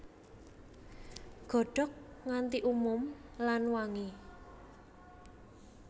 Godhog nganti umum lan wangi